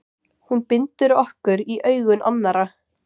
Hún bindur okkur í augum annarra.